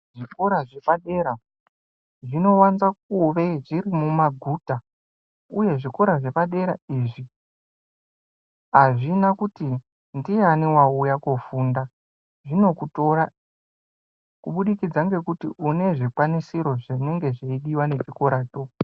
Zvikora zvepadera zvinowanza kuve zviri mumaguta uye zvikora zvepadera izvi azvina kuti ndiani wauya koofunda zvinokutora kubudikidza ngekuti unenge une zvikwanisiro zvinodiwa ngechikora cho.